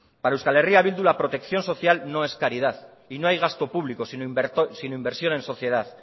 para euska herria bildu la protección social no es caridad y no hay gasto público sino inversión en sociedad